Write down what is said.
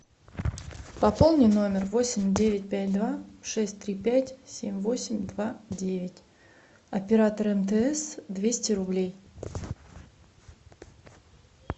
пополни номер восемь девять пять два шесть три пять семь восемь два девять оператор мтс двести рублей